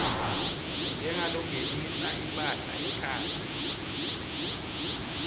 njengalongenisa imphahla ngekhatsi